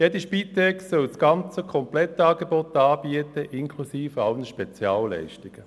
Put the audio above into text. Jede Spitex soll sämtliche Leistungen anbieten, inklusive aller Spezialleistungen.